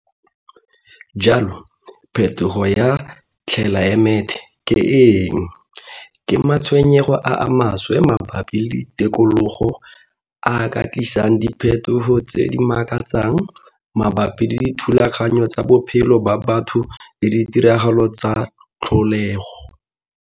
Jalo, phetogo ya tlelaemete ke eng? Ke matshwenyego a a maswe mabapi le tikologo a a ka tlisang diphetogo tse di makatsang mabapi le dithulaganyo tsa bophelo ba batho le ditiragalo tsa tlholego.